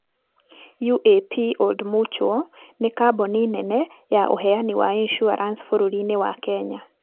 UAP Old Mutual nĩ kambuni nene ya ũheani wa insurance bũrũri-inĩ wa Kenya.